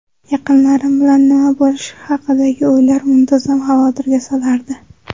Yaqinlarim bilan nima bo‘lishi haqidagi o‘ylar muntazam xavotirga solardi.